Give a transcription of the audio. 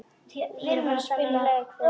Vinna þennan leik fyrir hann!